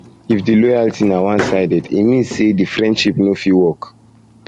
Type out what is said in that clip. if di loyalty na one sided e mean say de friendship no fit work